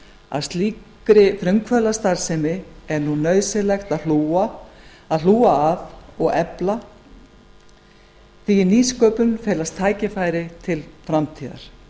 að slíkri frumkvöðlastarfsemi er nú nauðsynlegt að hlúa og efla því í nýsköpun felast tækifæri til framtíðar